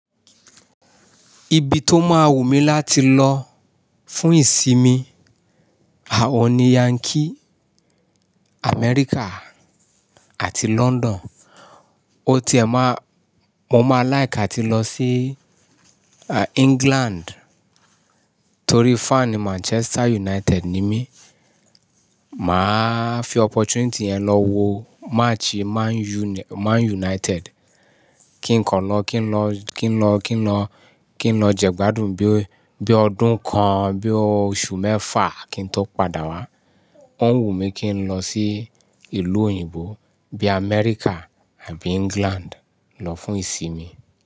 Ibi tó má wù mí láti lọ fún ìsinmi, àwọn ni Yankee, Amẹ́ríkà àti London. MÓ tiẹ̀ má, mo máa láìkì átí lọ sí England torí fan Manchester United ni mí. Máa fi opportunity yẹn lọ wo match Man Une-- Man United kí n kọ̀na kí n lọ, kí n lọ, kí n lọ, kí n lọ jẹ́gbádùn bí, bí ọdún kan, bí oṣù mẹ́fà kí n tó padà wá. Ó wù mí kí n lọ sí ìlú òyìnbó bí Amẹ́ríkà àbí England lọ fún ìsinmi.